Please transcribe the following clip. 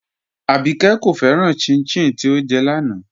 Àbíkẹ́ kò fẹ́ràn chin-chin tí ọ́ jẹ́ láńà